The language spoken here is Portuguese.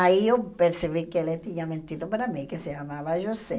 Aí eu percebi que ele tinha mentido para mim, que se chamava José.